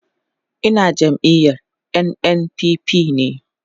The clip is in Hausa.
Ina jam'iyar NNPP ne